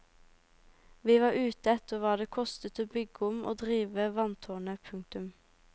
Vi var ute etter hva det kostet å bygge om og drive vanntårnet. punktum